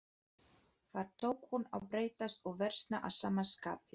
Þar tók hún að breytast og versna að sama skapi.